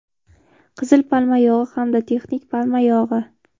Qizil palma yog‘i hamda texnik palma yog‘i.